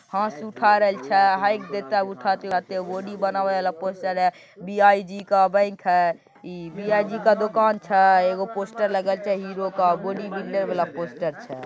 हाथ उठा रहल छै बॉडी बनाने वाला पोस्टर है बी.आई.जी का बैंक हैइ बी.आई.जी का दुकान छै एगो पोस्टर लगल छै हीरो के बॉडी बिल्डर वाला पोस्टर छै।